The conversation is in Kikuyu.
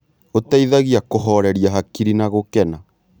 ũteithagia kũhoreria hakiri na gũkena.